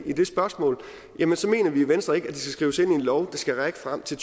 i det spørgsmål mener vi i venstre ikke at det skal skrives ind i en lov der skal række frem til